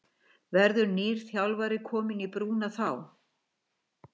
Verður nýr þjálfari kominn í brúna þá?